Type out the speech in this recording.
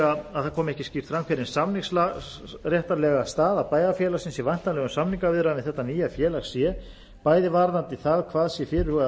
að það komi ekki skýrt fram hver hin samningsréttarlega staða bæjarfélagsins í væntanlegum samningaviðræðum við þetta nýja félag sé bæði varðandi það hvað sé fyrirhugað að